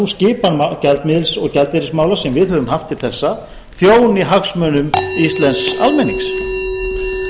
skipan gjaldeyrismála sem við höfum haft til þessa þjóni hagsmunum íslensks almennings